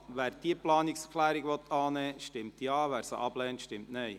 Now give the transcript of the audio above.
Wer diese Planungserklärung annehmen will, stimmt Ja, wer sie ablehnt, stimmt Nein.